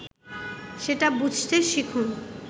সেটা বুঝতে শিখুন